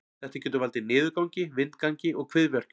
Þetta getur valdið niðurgangi, vindgangi og kviðverkjum.